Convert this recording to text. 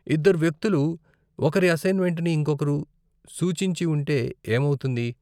ఇద్దరు వ్యక్తులు ఒకరి అసైన్మెంట్ని ఇంకొకరు సూచించి ఉంటే ఏమౌతుంది?